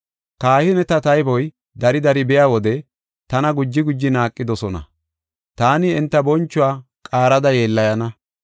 Kahineta tayboy dari dari biya wode tana guji guji naaqidosona; taani enta bonchuwa qaarada yeellayana.